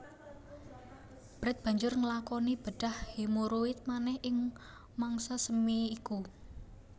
Brett banjur nglakoni bedhah hemoroid manèh ing mangsa semi iku